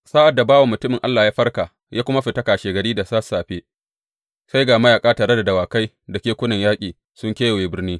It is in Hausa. Sa’ad da bawan mutumin Allah ya farka ya kuma fita kashegari da sassafe, sai ga mayaƙa tare da dawakai da kekunan yaƙi sun kewaye birni.